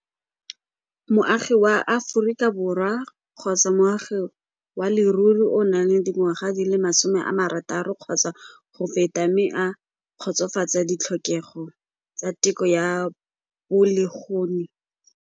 Moagi wa Aforika Borwa kgotsa moagi wa leruri o nang le dingwaga di le masome a marataro kgotsa go feta mme a kgotsofatsa ditlhokego tsa teko ya .